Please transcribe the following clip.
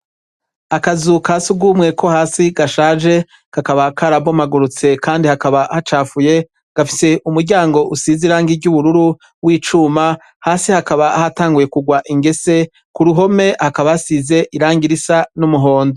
Akazuka si ugumweko hasi gashaje gakaba karabomagurutse, kandi hakaba hacafuye gafise umuryango usize irangi iryo ubururu w'icuma hasi hakaba hatanguye kugwa ingese ku ruhome hakabasize irangi risa n'umuhondo.